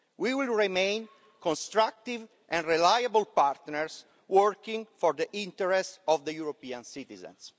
We will remain constructive and reliable partners working for the interests of the European citizens.